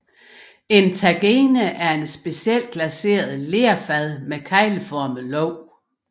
En tagine er et specielt glaceret lerfad med kegleformet låg